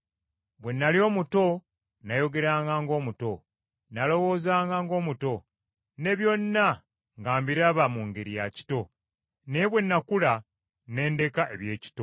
Bwe nnali omuto, nayogeranga ng’omuto, nalowoozanga ng’omuto, ne byonna nga mbiraba mu ngeri ya kito. Naye bwe nakula ne ndeka eby’ekito.